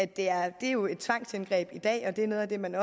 det er jo et tvangsindgreb i dag og det er noget af det man